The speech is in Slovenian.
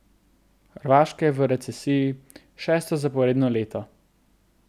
Hrvaška je v recesiji šesto zaporedno leto.